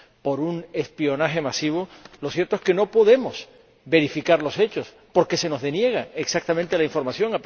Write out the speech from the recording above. por un espionaje masivo, lo cierto es que no podemos verificar los hechos porque se nos deniega exactamente la información.